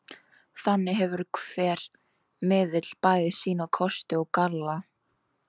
Þannig hefur hver miðill bæði sína kosti og galla.